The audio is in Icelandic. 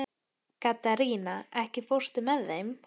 Katharina, ekki fórstu með þeim?